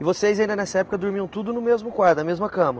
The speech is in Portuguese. E vocês ainda nessa época dormiam tudo no mesmo quarto, na mesma cama?